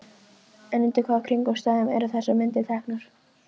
En undir hvaða kringumstæðum eru þessar myndir teknar?